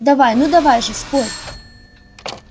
давай ну давай же спорь